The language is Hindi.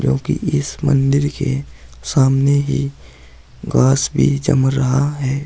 क्योंकि इस मंदिर के सामने ही घास भी जम रहा है।